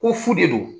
Ko fu de don